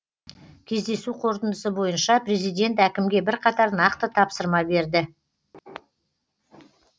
кездесу қорытындысы бойынша президент әкімге бірқатар нақты тапсырма берді